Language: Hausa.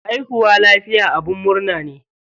Haihuwa lafiya abin murna ne.